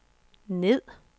ned